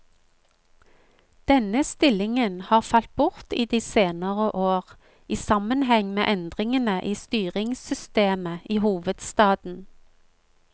Denne stillingen har falt bort i de senere år, i sammenheng med endringene i styringssystemet i hovedstaden.